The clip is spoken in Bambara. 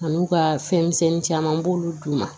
A n'u ka fɛn misɛnnin caman b'olu d'u ma